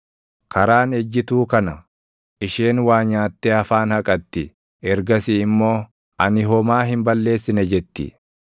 “Karaan ejjituu kana: Isheen waa nyaattee afaan haqatti; ergasii immoo, ‘Ani homaa hin balleessine’ jetti.